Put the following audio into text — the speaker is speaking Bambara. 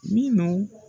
Minnu